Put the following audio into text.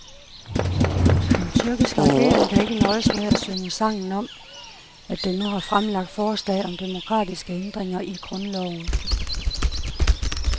Den tyrkiske regering kan ikke nøjes med at synge sangen om, at den nu har fremlagt forslag om demokratiske ændringer i grundloven.